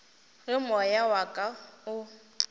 ge moya wa ka o